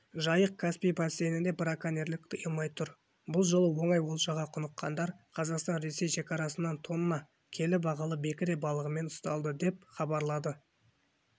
жайық-каспий бассейнінде браконьерлік тыйылмай тұр бұл жолы оңай олжаға құныққандар қазақстан-ресей шекарасынан тонна келі бағалы бекіре балығымен ұсталды деп абарлады